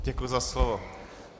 Děkuji za slovo.